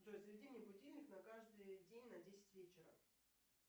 джой заведи мне будильник на каждый день на десять вечера